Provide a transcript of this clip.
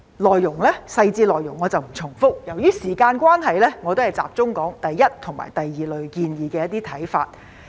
我不重複細緻內容，由於時間關係，我集中討論對第一類和第二類建議的一些看法。